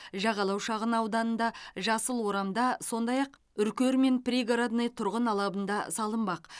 жағалау шағын ауданында жасыл орамда сондай ақ үркер мен пригородный тұрғын алабында салынбақ